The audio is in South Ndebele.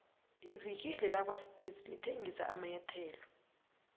ivikile lakwaspitz lithengisa amanyathelo